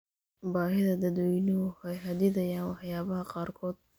Baahida dadweynuhu waxay xaddidayaan waxyaabaha qaarkood.